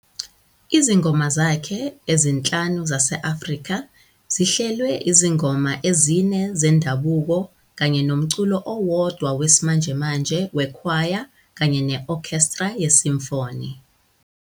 Izingoma zakhe "ezinhlanu zase-Afrika" zihlelwe izingoma ezine zendabuko kanye nomculo owodwa wesimanjemanje wekhwaya kanye ne-okhestra ye-symphony.